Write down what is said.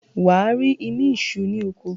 wà á rí “imí isú” ní oko.